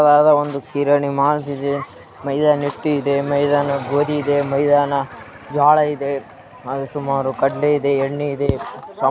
ಒಂದು ಕಿರಾಣಿ ಮಾಲ್‌ ಇದೆ ಮೈದಾನ ಹಿಟ್ಟು ಇದೆ ಮೈದಾನ ಗೋದಿ ಇದೆ ಮೈದಾನ ಜೋಳಾ ಇದೆ ಸುಮಾರು ಕಡಲೆ ಇದೆ ಎಣ್ಣೆ ಇದೆ--